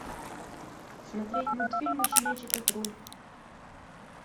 смотреть мультфильмы щенячий патруль